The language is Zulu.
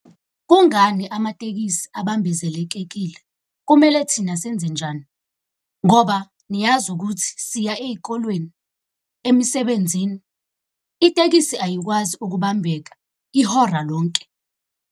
Kungani amatekisi abambezelekekile? Kumele thina senzenjani? Ngoba niyazi ukuthi siya ey'kolweni, emsebenzini. Itekisi ayikwazi ukubambeka ihora lonke.